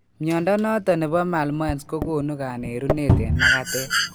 Miondo nebo malmoense kogonu kanerunet en magatet